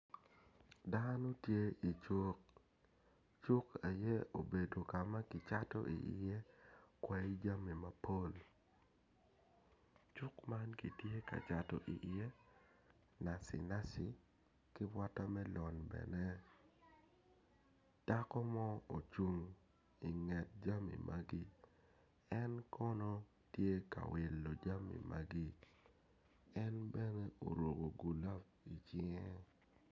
Dano tye icuk cuk aye obedo ka ma kicato iye kwai jami mapol cuk man kitye ka cato iye naci naci ki watermellon bene dako mo ocung inget jami magi en kono tye ka wilo jami magi en bene oruko gulab icinge.